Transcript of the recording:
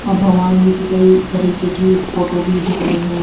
औ भगवान जी की कई तरीके की फोटो भी दिख रही हैं।